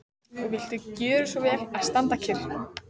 En það gekk mér úr greipum.